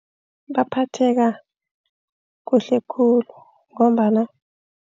Baphatheka kuhle khulu ngombana